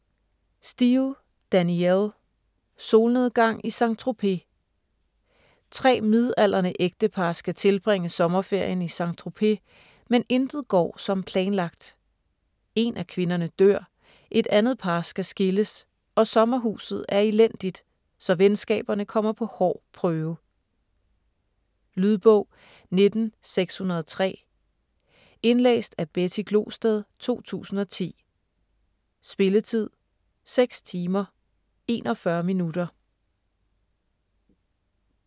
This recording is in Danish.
Steel, Danielle: Solnedgang i Saint-Tropez Tre midaldrende ægtepar skal tilbringe sommerferien i Saint-Tropez, men intet går som planlagt: én af kvinderne dør, et andet par skal skilles og sommerhuset er elendigt, så venskaberne kommer på hård prøve. Lydbog 19603 Indlæst af Betty Glosted, 2010. Spilletid: 6 timer, 41 minutter.